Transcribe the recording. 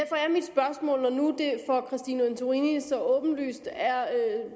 for fru christine antorini så åbenlyst er det